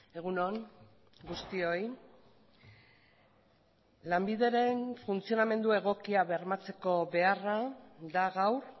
egun on guztioi lanbideren funtzionamendu egokia bermatzeko beharra da gaur